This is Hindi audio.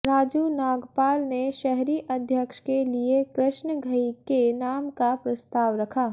राजू नागपाल ने शहरी अध्यक्ष के लिए कृष्ण घई के नाम का प्रस्ताव रखा